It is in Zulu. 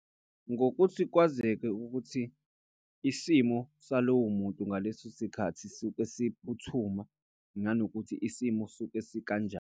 Ngokuthi kwazeke ukuthi isimo salowo muntu ngaleso sikhathi suke siphuthuma. Nanokuthi isimo suke sikanjani.